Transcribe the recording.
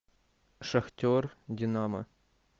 шахтер динамо